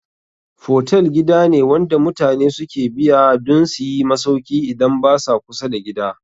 Fotel gida ne wanda mutane suke biya dun suyi masauki idan basa kusa da gida